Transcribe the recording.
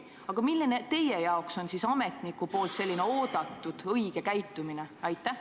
Aga milline on teie arvates ametniku oodatud, õige käitumine?